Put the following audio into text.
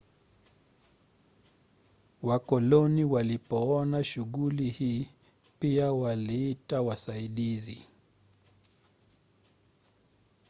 wakoloni walipoona shughuli hii pia waliita wasaidizi